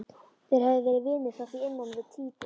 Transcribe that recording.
Þeir höfðu verið vinir frá því innan við tvítugt.